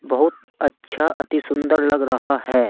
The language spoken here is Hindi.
बहुत अच्छा अति सुंदर लग रहा है।